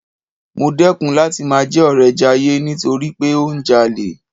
Mo dẹ́kun láti máa jẹ́ ọ̀rẹ Jayé nítorí pé ó ń jalè.